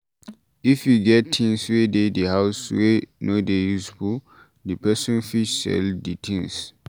If you get things wey de the house wey no dey useful, di person fit sell di things